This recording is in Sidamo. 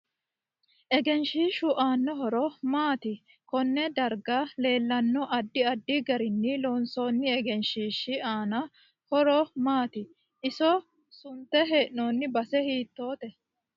Egenshiishu aano horo maati konne darga leelanno addi addi garini loonsooni egenshiishi aano horo maati iso sunte heenooni base hiitoote